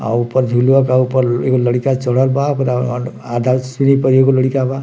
आउ ऊपर झुलुआ बा ऊपर एगो लइका चढ़ल बा आधा सीढ़ी पर एगो लइका बा |